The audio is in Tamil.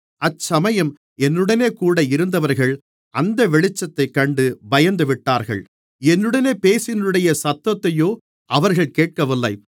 அச்சமயம் என்னுடனேகூட இருந்தவர்கள் அந்த வெளிச்சத்தைக் கண்டு பயந்துவிட்டார்கள் என்னுடனே பேசினவருடைய சத்தத்தையோ அவர்கள் கேட்கவில்லை